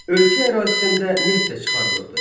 Ölkə ərazisində neft də çıxarılırdı.